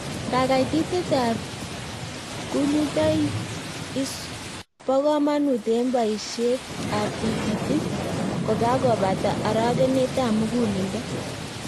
Kakaititet ab kunyutoik is bo komanut en boisiet ab tikitik kokakobata arogenet ab muguleledo